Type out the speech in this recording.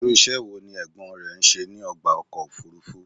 Irú iṣẹ́ wo ní Ẹ̀gbọ́n ẹ ṣe ní ọgbà ọkọ̀ òfúrúfú?